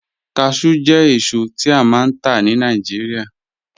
Cashew jẹ̀ èsò, tí a máa n tà ní Nàìjíríà